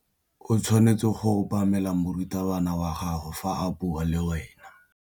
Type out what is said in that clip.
O tshwanetse go obamela morutabana wa gago fa a bua le wena.